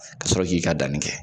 Ka sɔrɔ k'i ka danni kɛ